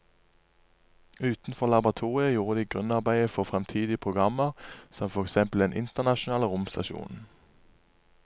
Utenfor laboratoriet gjorde de grunnarbeidet for fremtidige programmer som for eksempel den internasjonale romstasjonen.